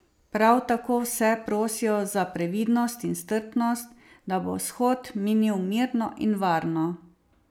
Prav tako vse prosijo za previdnost in strpnost, da bo shod minil mirno in varno.